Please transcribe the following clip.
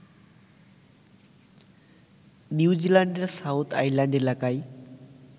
নিউজিল্যান্ডের South Island এলাকায়